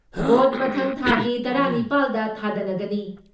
Vote ꯃꯊꯪ ꯊꯥꯒꯤ ꯇꯔꯥ ꯅꯤꯄꯥꯜ ꯗ ꯊꯥꯗꯅꯒꯅꯤ ꯫